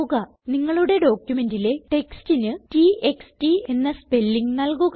നിങ്ങളുടെ ഡോക്യുമെന്റിലെ textന് t x t എന്ന സ്പെല്ലിംഗ് നല്കുക